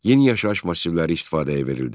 Yeni yaşayış massivləri istifadəyə verildi.